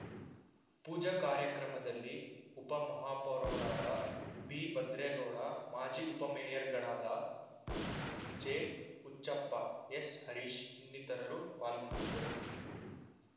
ಪೂಜಾ ಕಾರ್ಯಕ್ರಮದಲ್ಲಿ ಉಪಮಹಾಪೌರರಾದ ಬಿಭದ್ರೇಗೌಡ ಮಾಜಿ ಉಪಮೇಯರ್‌ಗಳಾದ ಜೆಹುಚ್ಚಪ್ಪ ಎಸ್‌ಹರೀಶ್‌ ಇನ್ನಿತರರು ಪಾಲ್ಗೊಂಡಿದ್ದರು